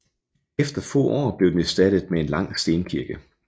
Efter få år blev den erstattet med en lang stenkirke